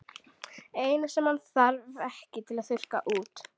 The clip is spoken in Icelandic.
Eina sem hann þarf ekki að þurrka út.